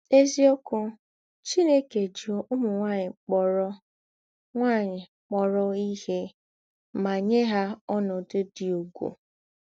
N’èzíokwū, Chìnèkè jí ǔmū nwányị̀ kpọ̀rọ̀ nwányị̀ kpọ̀rọ̀ ìhè mà nyè hà ònòdū̄ dị ùgwù.